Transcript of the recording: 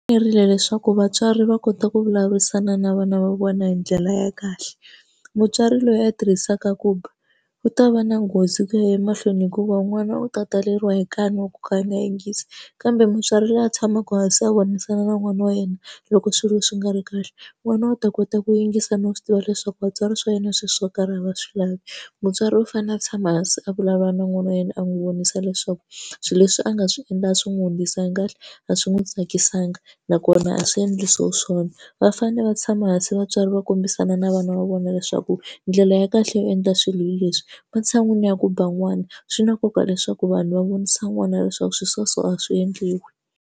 Fanerile leswaku vatswari va kota ku vulavurisana na vana va vona hi ndlela ya kahle mutswari loyi a tirhisaka ku ba u ta va na nghozi ku ya emahlweni hikuva n'wana u ta taleriwa hi kan'we wo ka a nga yingisi kambe mutswari loyi a tshamaka hansi a vonisana na n'wana wa yena loko swilo swi nga ri kahle n'wana u ta kota ku yingisa no swi tiva leswaku vatswari swa yena swilo swo karhi a va swi lavi mutswari u fanele a tshama hansi a vulavula na n'wana wa yena a n'wi vonisa leswaku swilo leswi a nga swi endla swi n'wi hundzisa kahle a swi n'wi tsakisaka nakona a swi endlisiwa swona va fanele va tshama hansi vatswari va kombisana na vana va vona leswaku ndlela ya kahle yo endla swilo hi leswi matshan'wini ya ku ba n'wana swi na nkoka leswaku vanhu va vonisa n'wana leswaku swilo swa so a swi endliwi.